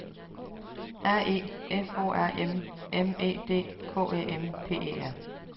R E F O R M M E D K Æ M P E R